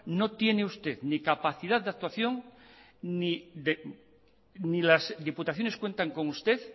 no tiene usted ni capacidad de actuación ni las diputaciones cuentan con usted